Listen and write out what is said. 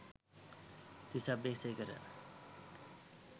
Tissa Abeysekara